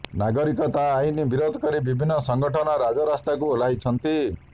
ନାଗରିକତା ଆଇନକୁ ବିରୋଧ କରି ବିଭିନ୍ନ ସଙ୍ଗଠନ ରାଜରାସ୍ତାକୁ ଓହ୍ଲାଇଛନ୍ତି